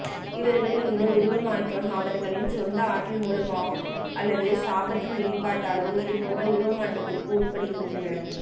இவர்களின் இந்த உருவமாற்றாம் அவர்களின் சொந்த ஆற்றல் மூலமோ அல்லது சாபத்தின் வெளிப்பட்டாலும் இது போன்ற உருவமாற்றத்திற்கு உட்படுகின்றனர்